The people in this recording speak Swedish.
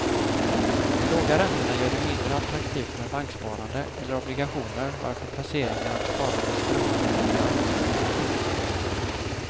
De låga räntorna gör det mindre attraktivt med banksparande eller obligationer varför placeringar och sparande strömmar över till aktiemarknaden.